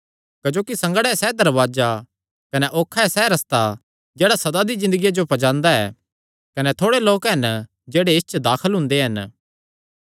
क्जोकि संगड़ा ऐ सैह़ दरवाजा कने औखा ऐ सैह़ रस्ता जेह्ड़ा सदा दी ज़िन्दगिया जो पज्जांदा ऐ कने थोड़े लोक हन जेह्ड़े इस च दाखल हुंदे हन